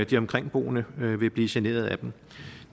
de omkringboende vil blive generet af dem